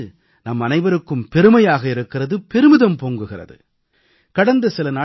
நம் நாட்டுப் பெண்கள் மீது நம்மனைவருக்கும் பெருமையாக இருக்கிறது பெருமிதம் பொங்குகிறது